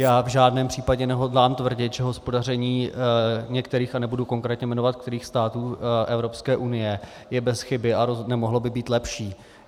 Já v žádném případě nehodlám tvrdit, že hospodaření některých, a nebudu konkrétně jmenovat kterých, států Evropské unie je bez chyby a nemohlo by být lepší.